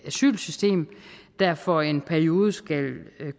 asylsystem der for en periode skal